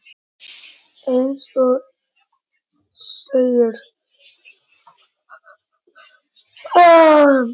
Eins og segir.